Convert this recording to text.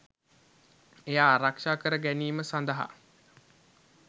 එය ආරක්ෂා කර ගැනීම සඳහා